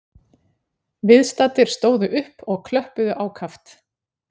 Viðstaddir stóðu upp og klöppuðu ákaft